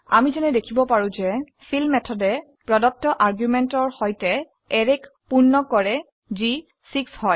আমি যেনে দেখিব পাৰো যে যিহেতু নামটো যায় ফিল মেথডে প্ৰদত্ত আৰ্গুমেন্ট সৈতে অ্যাৰেক পূৰ্ণ কৰে যি হয় 6